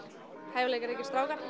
hæfileikaríkir strákar